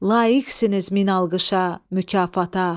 Laqisiniz min alqışa, mükafata.